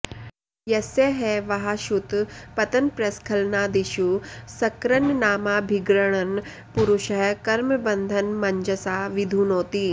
यस्य ह वाह क्षुतपतनप्रस्खलनादिषु सकृन्नामाभिगृणन् पुरुषः कर्मबन्धनमञ्जसा विधुनोति